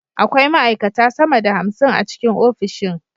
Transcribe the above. Akwai ma’aikata sama da hamsin a ofishin